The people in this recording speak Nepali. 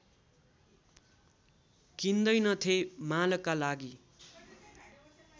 किन्दैनथे मालका लागि